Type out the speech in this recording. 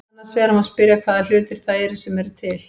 Annars vegar má spyrja hvaða hlutir það eru sem eru til.